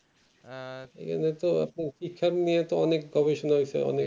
আবার তো আপনার শিক্ষা নিয়ে গবেষণাতে